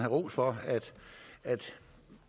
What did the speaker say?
ros for at